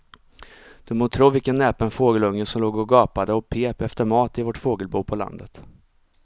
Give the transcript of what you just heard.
Du må tro vilken näpen fågelunge som låg och gapade och pep efter mat i vårt fågelbo på landet.